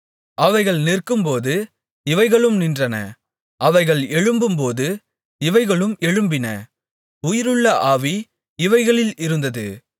அவைகள் நிற்கும்போது இவைகளும் நின்றன அவைகள் எழும்பும்போது இவைகளும் எழும்பின உயிருள்ள ஆவி இவைகளில் இருந்தது